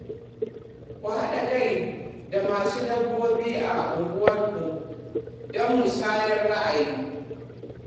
Ka haɗa kai da masu dabbobi a unguwarku don musayar ra'ayoyi.